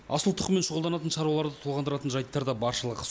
асыл тұқыммен шұғылданатын шаруаларды толғандыратын жайттар да баршылық